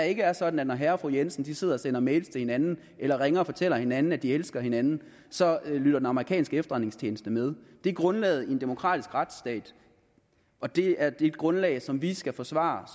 ikke er sådan at når herre og fru jensen sidder og sender mails til hinanden eller ringer og fortæller hinanden at de elsker hinanden så lytter den amerikanske efterretningstjeneste med det er grundlaget i en demokratisk retsstat og det er et grundlag som vi skal forsvare